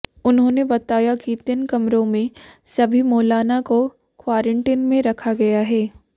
उन्होंने बताया कि तीन कमरों में सभी मौलाना को क्वारंटीन में रखा गया है